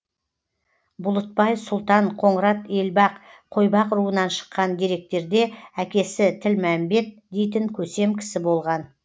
бұлытбай сұлтан қоңырат елбақ қойбақ руынан шыққан деректерде әкесі тілмәмбет дейтін көсем кісі болған